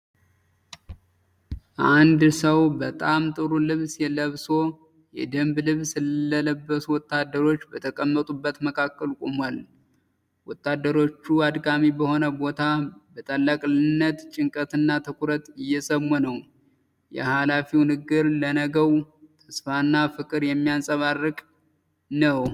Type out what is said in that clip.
አንድ ሰው በጣም ጥሩ ልብስ ለብሶ፣ የደንብ ልብስ ለበሱ ወታደሮች በተቀመጡበት መካከል ቆሟል። ወታደሮቹ አድካሚ በሆነ ቦታ በታላቅ ጭንቀትና ትኩረት እየሰሙ ነው። የኃላፊው ንግግር ለነገው ተስፋና ፍቅር የሚያንጸባርቅ ነው።